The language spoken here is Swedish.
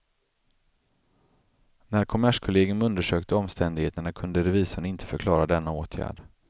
När kommerskollegium undersökte omständigheterna kunde revisorn inte förklara denna åtgärd.